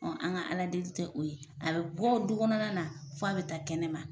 An ka Ala deli tɛ o ye a bɛ bɔ du kɔnɔna na fo a bɛ taa kɛnɛ ma.